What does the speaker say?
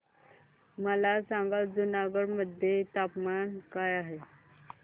मला सांगा जुनागढ मध्ये तापमान काय आहे